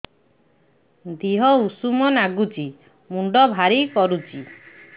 ଦିହ ଉଷୁମ ନାଗୁଚି ମୁଣ୍ଡ ଭାରି କରୁଚି